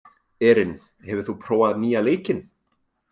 Erin, hefur þú prófað nýja leikinn?